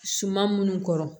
Suman minnu kɔrɔ